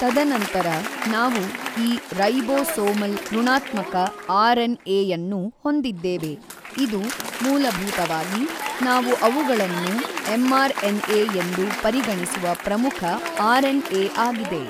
ತದನಂತರ ನಾವು ಈ ರೈಬೋಸೋಮಲ್ ಋಣಾತ್ಮಕ ಆರ್ ಎನ್ ಎಯನ್ನು ಹೊಂದಿದ್ದೇವೆ ಇದು ಮೂಲಭೂತವಾಗಿ ನಾವು ಅವುಗಳನ್ನು ಎಂಆರ್ ಎನ್ ಎ ಎಂದು ಪರಿಗಣಿಸುವ ಪ್ರಮುಖ ಆರ್ ಎನ್ ಎ ಆಗಿದೆ.